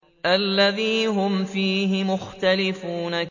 الَّذِي هُمْ فِيهِ مُخْتَلِفُونَ